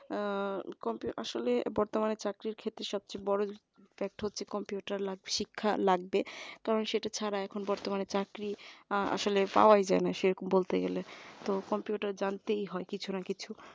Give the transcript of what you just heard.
আহ computer আসলে বর্তমানে চাকরি ক্ষেত্রে সবচেয়ে বড় fact হচ্ছে computer লাগবে শিক্ষা লাগবে কারণ সেটা ছাড়া এখন বর্তমানে চাকরি আসলে পাওয়া যায় না সেরকম বলতে গেলে computer জানতেই হয় কিছু না কিছু